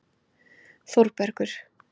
Þórbergur